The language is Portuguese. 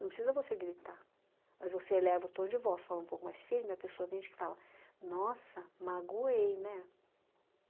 Não precisa você gritar, mas você eleva o tom de voz, fala um pouco mais firme, a pessoa tem gente que fala, nossa, magoei, né?